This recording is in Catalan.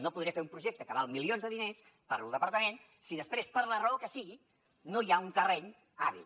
no podré fer un projecte que val milions de diners per al departament si després per la raó que sigui no hi ha un terreny hàbil